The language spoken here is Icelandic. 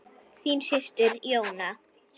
Þín systir, Jóna.